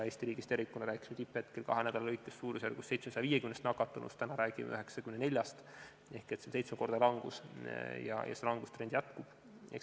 Eesti riigis tervikuna me rääkisime tipphetkel kahe nädala jooksul suurusjärgus 750 nakatunust, täna räägime 94-st, ehk see on seitsmekordne langus ja langustrend jätkub.